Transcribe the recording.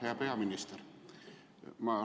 Hea peaminister!